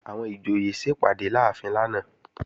Àwọn ìjòyè sẹpàdé láàfin lánàá